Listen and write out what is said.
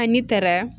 An ne taara